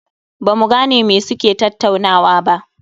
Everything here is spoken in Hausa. Ba mu gane me suke tattaunawa ba